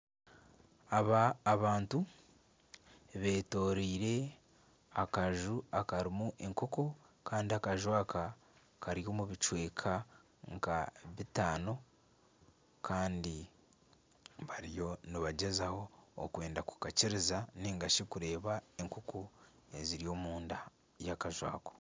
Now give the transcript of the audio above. Aba abantu betoreire akaju akarimu enkoko kandi akaju aka kari omu bicweka nka bitaano kandi bariyo nibagyezaho okwenda kukakyiriza ningashi kureeba enkonko eziri omunda y'akaju ako.